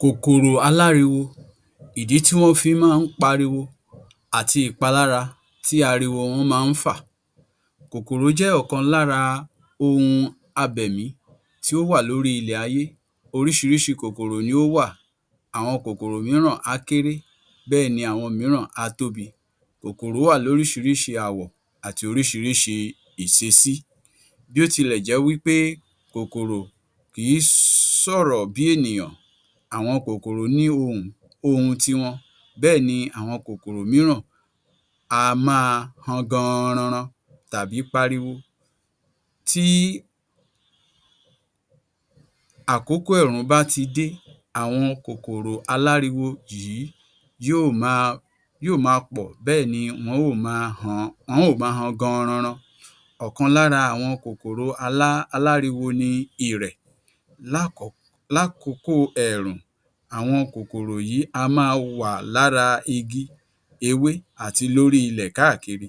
Kòkòrò aláriwo, ìdí tí wọ́n fi máa ń pariwo àti ìpalára tí ariwo wọ́n máa ń fà. Kòkòrò jẹ́ ọ̀kan lára ohun abẹ̀mí tí ó wà lórí ilé ayé. Oríṣiríṣi kòkòrò ni o wà àwọn kòkòrò mìíràn á kéré bẹ́ẹ̀ ni àwọn mìíràn á tóbi. Kòkòrò wà lóríṣiríṣi àwọ̀ àti oríṣiríṣi ìṣesí. Bí ó tilẹ̀ jẹ́ wípé kòkòrò kìí sọ̀rọ̀ bí ènìyàn àwọn kòkòrò ní ohùn, ohùn tiwọn. Bẹ́ẹ̀ ni àwọn kòkòrò mìíràn á máa han gan-an-ran-ran tàbí pariwo. Tí àkókò ẹ̀rùn bá ti dé àwọn kòkòrò aláriwo yìí yí ò máa yí ò máa pọ̀ bẹ́ẹ̀ni wọ́n óò maa han, wọ́n óò máa han gan-an-ran-ran. Ọ̀kan lára àwọn kòkòrò alá aláriwo ni Ìrẹ̀. Lákọ lákòkóò ẹ̀rùn, àwọn kòkòrò yìí á máa wà lára igi ewé àti lóri ilẹ̀ káàkiri.